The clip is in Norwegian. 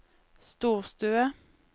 storstue